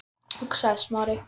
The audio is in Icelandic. hugsaði Smári.